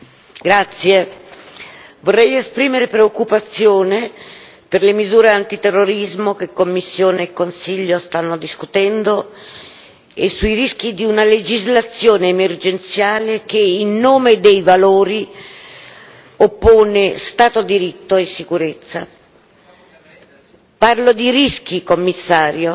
Signor Presidente, onorevoli colleghi, vorrei esprimere preoccupazione per le misure antiterrorismo che Commissione e Consiglio stanno discutendo e sui rischi di una legislazione emergenziale che, in nome dei valori, oppone Stato di diritto e sicurezza. Parlo di rischi, Commissario,